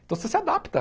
Então você se adapta.